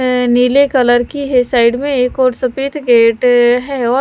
नीले कलर की है साइड में एक और सफेद गेट ।